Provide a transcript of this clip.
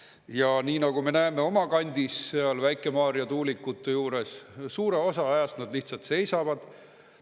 Ja nii nagu me näeme oma kandis, seal Väike-Maarja tuulikute juures, suure osa ajast nad lihtsalt seisavad.